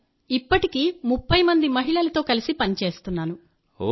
sir ఇప్పటికీ 30 మంది మహిళలతో కలిసి పనిచేస్తున్నాను